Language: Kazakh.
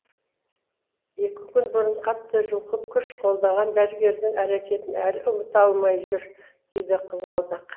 екі күн бұрын қатты жұлқып күш қолданған дәрігердің әрекетін әлі ұмыта алмай жүр дейді қызғалдақ